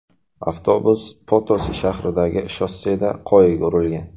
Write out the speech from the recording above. Avtobus Potosi shahridagi shosseda qoyaga urilgan.